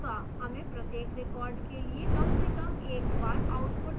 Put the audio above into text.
हमें प्रत्येक record के लिए कम से कम एक बार output प्राप्त हो रहा है